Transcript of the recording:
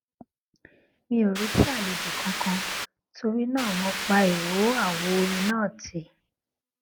mi ò retí àlejò kankan torí náà mo pa ìró àwo orin náà tì